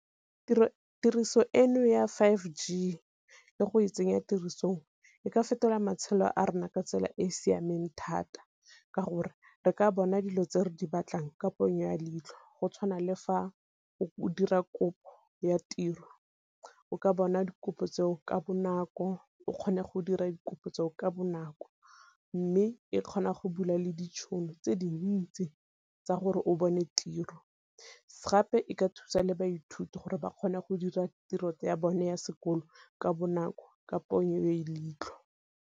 Tiriso eno ya five G le go e tsenya tirisong e ka fetola matshelo a rona ka tsela e e siameng thata ka gore re ka bona dilo tse re di batlang ka ponyo ya leitlho, go tshwana le fa o dira kopo ya tiro o ka bona dikopo tseo ka bonako, o kgone go dira dikopo tseo ka bonako. Mme e kgona go bula le ditšhono tse dintsi tsa gore o bone tiro, gape e ka thusa le baithuti gore ba kgone go dira tiro ya bone ya sekolo ka bonako ka ponyo ya leitlho.